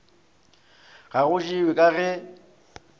ga go jewe ka ge